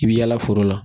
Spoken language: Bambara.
I bi yaala foro la